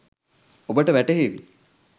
ඔබට වැටහේවි